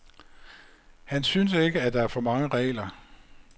Han synes ikke, at der er for mange regler.